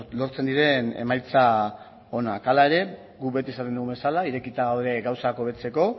lortzen diren emaitzak onak hala ere guk beti esaten dugun bezala irekita gaude gauzak hobetzeko